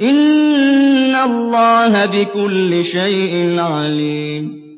إِنَّ اللَّهَ بِكُلِّ شَيْءٍ عَلِيمٌ